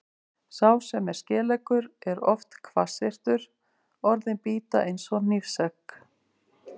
Sá sem er skeleggur er oft hvassyrtur, orðin bíta eins og hnífsegg.